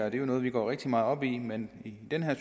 er jo noget vi går rigtig meget op i men i det her